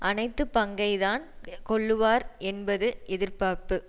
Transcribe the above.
அனைத்து பங்கைத்தான் கொள்ளுவார் என்பது எதிர்பார்ப்பு